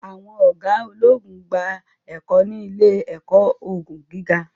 àwọn oga ologun n gba ẹkọ ni ile-ẹkọ ogun giga